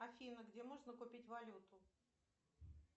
афина где можно купить валюту